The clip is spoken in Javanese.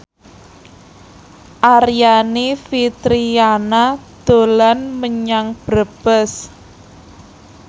Aryani Fitriana dolan menyang Brebes